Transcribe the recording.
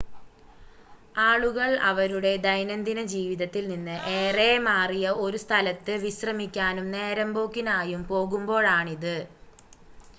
ആളുകൾ അവരുടെ ദൈനംദിന ജീവിതത്തിൽ നിന്ന് ഏറെ മാറിയ ഒരു സ്ഥലത്ത് വിശ്രമിക്കാനും നേരമ്പോക്കിനായും പോകുമ്പോഴാണിത്